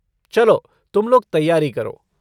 चलो तुम लोग तैयारी करो।